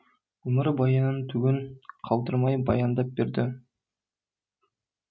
өмірбаянын түгін қалдырмай баяндап берді